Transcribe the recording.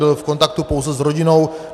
Byl v kontaktu pouze s rodinou.